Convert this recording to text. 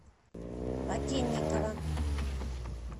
воденникова